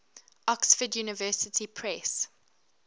oxford university press